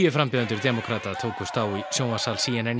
frambjóðendur demókrata tókust á í sjónvarpssal c n n